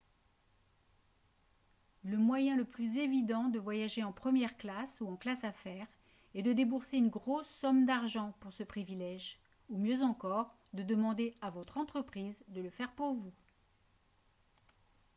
le moyen le plus évident de voyager en première classe ou en classe affaires est de débourser une grosse somme d'argent pour ce privilège ou mieux encore de demander à votre entreprise de le faire pour vous